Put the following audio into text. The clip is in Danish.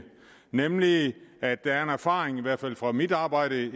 nemlig at der er en erfaring i hvert fald fra mit arbejde i